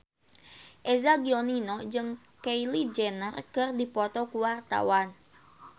Eza Gionino jeung Kylie Jenner keur dipoto ku wartawan